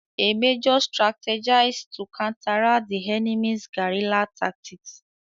A major strategized to counteract the enemy's guerilla tactics.